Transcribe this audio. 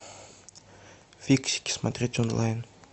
фиксики смотреть онлайн